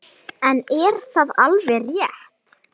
En er það alveg rétt?